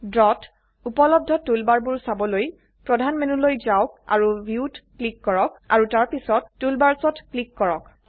draw ত উপলব্ধ টুলবাৰবোৰ চাবলৈ প্ৰধান মেনুলৈ যাওক আৰু ভিউত ক্লিক কৰক আৰু তাৰপিছত Toolbarsঅত ক্লিক কৰক